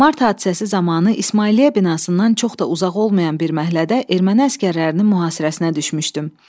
Mart hadisəsi zamanı İsmailiyyə binasından çox da uzaq olmayan bir məhəllədə erməni əsgərlərinin mühasirəsinə düşmüşdüm.